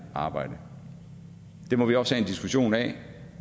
arbejde det må vi også have en diskussion af